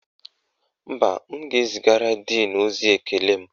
Mba, m ga-ezigara díìnu ozi ekele m